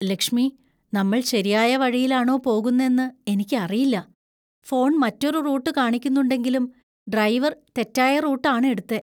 ലക്ഷ്മി, നമ്മൾ ശരിയായ വഴിയിലാണോ പോകുന്നെന്നു എനിക്കറിയില്ല. ഫോൺ മറ്റൊരു റൂട്ട് കാണിക്കുന്നുണ്ടെങ്കിലും ഡ്രൈവർ തെറ്റായ റൂട്ട് ആണ് എടുത്തേ.